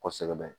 Kɔsɛbɛ